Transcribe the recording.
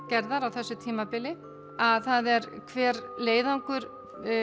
gerðar á þessu tímabili það er hver leiðangur